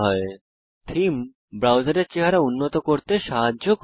তাই আপনি দেখেন যে থীম ব্রাউজারের চেহারা উন্নত করতে সাহায্য করে